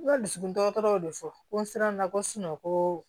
N ka dusukun dɔgɔtɔrɔ y'o de fɔ ko n sera n na ko ko